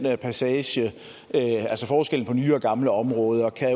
passage altså forskellen på nye og gamle områder kan